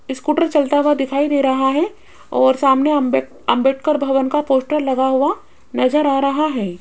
Scooter चलता हुआ दिखाई दे रहा है और सामने अम्बे अंबेडकर भवन का पोस्टर लगा हुआ नजर आ रहा है।